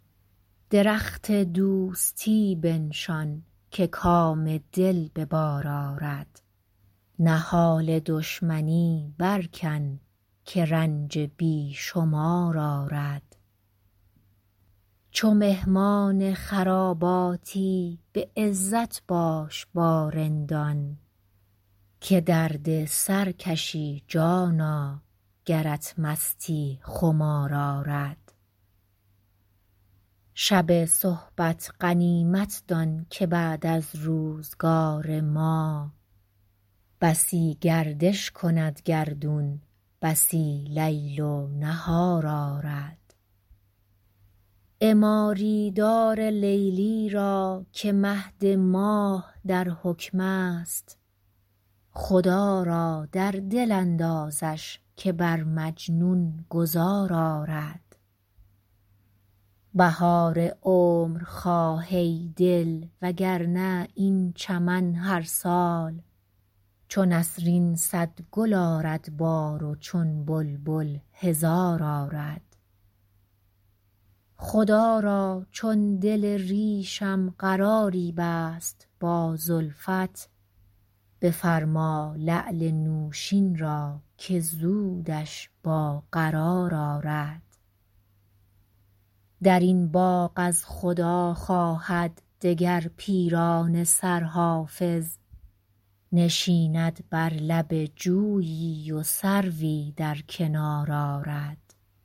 درخت دوستی بنشان که کام دل به بار آرد نهال دشمنی برکن که رنج بی شمار آرد چو مهمان خراباتی به عزت باش با رندان که درد سر کشی جانا گرت مستی خمار آرد شب صحبت غنیمت دان که بعد از روزگار ما بسی گردش کند گردون بسی لیل و نهار آرد عماری دار لیلی را که مهد ماه در حکم است خدا را در دل اندازش که بر مجنون گذار آرد بهار عمر خواه ای دل وگرنه این چمن هر سال چو نسرین صد گل آرد بار و چون بلبل هزار آرد خدا را چون دل ریشم قراری بست با زلفت بفرما لعل نوشین را که زودش با قرار آرد در این باغ از خدا خواهد دگر پیرانه سر حافظ نشیند بر لب جویی و سروی در کنار آرد